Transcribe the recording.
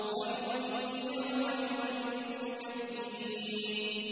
وَيْلٌ يَوْمَئِذٍ لِّلْمُكَذِّبِينَ